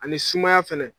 Ani sumaya fɛnɛ